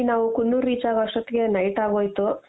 ನಾವು ಕುನ್ನೂರ್ reach ಆಗೋ ಅಷ್ಟೊತ್ಗೆ night ಆಗೋಯಿತು.